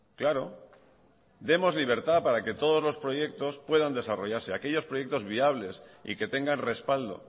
claro demos libertad para que todos los proyectos puedan desarrollarse aquellos proyectos viables y que tengan respaldo